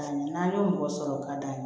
N'an y'o mɔgɔ sɔrɔ o ka d'a ye